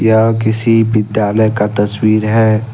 यह किसी विद्यालय का तस्वीर है।